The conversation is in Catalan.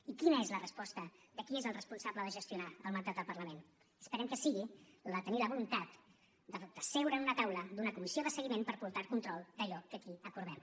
i quina és la resposta de qui és el responsable de gestionar el mandat del parlament esperem que sigui la de tenir la voluntat de seure en una taula d’una comissió de seguiment per portar el control d’allò que aquí acordem